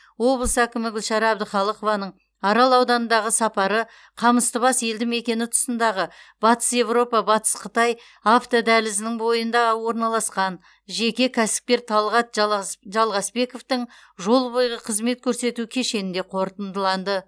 облыс әкімі гүлшара әбдіқалықованың арал ауданындағы сапары қамыстыбас елді мекені тұсындағы батыс европа батыс қытай автодәлізінің бойында орналасқан жеке кәсіпкер талғат жалғыс жалғасбековтің жол бойғы қызмет көрсету кешенінде қорытындыланды